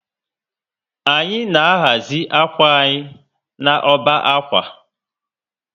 Anyị na ahazi akwa anyi na ọbá akwa